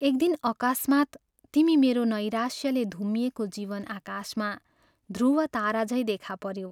एक दिन अकस्मात्, तिमी मेरो नैराश्यले धुम्मिएको जीवन आकाशमा ध्रुव तारा झैं देखा पऱ्यौ।